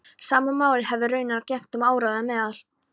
Sama máli hefði raunar gegnt um áróður meðal